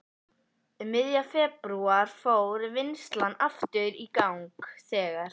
Um miðjan febrúar fór vinnslan aftur í gang þegar